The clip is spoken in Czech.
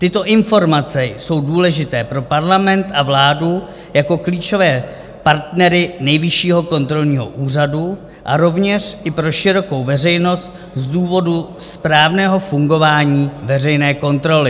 Tyto informace jsou důležité pro parlament a vládu jako klíčové partnery Nejvyššího kontrolního úřadu a rovněž i pro širokou veřejnost z důvodu správného fungování veřejné kontroly.